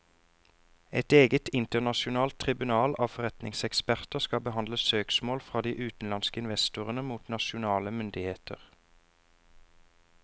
Et eget internasjonalt tribunal av forretningseksperter skal behandle søksmål fra de utenlandske investorene mot nasjonale myndigheter.